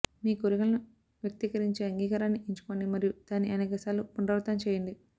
మీ కోరికలను వ్యక్తీకరించే అంగీకారాన్ని ఎంచుకోండి మరియు దాన్ని అనేకసార్లు పునరావృతం చేయండి